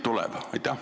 Aitäh!